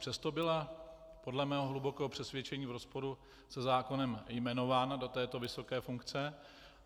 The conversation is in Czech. Přesto byla podle mého hlubokého přesvědčení v rozporu se zákonem jmenována do této vysoké funkce.